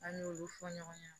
An n'olu fɔ ɲɔgɔn ɲɛna